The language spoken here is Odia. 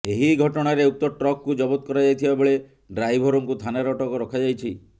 ଏହି ଘଟଣାରେ ଉକ୍ତ ଟ୍ରକକୁ ଜବତ କରାଯାଇଥିବା ବେଳେ ଡ୍ରାଇଭର୍ଙ୍କୁ ଥାନାରେ ଅଟକ ରଖାଯାଇଛି